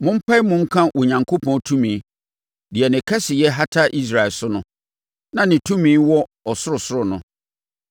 Mompae mu nka Onyankopɔn tumi, deɛ ne kɛseyɛ hata Israel so no, na ne tumi wɔ soro soro no.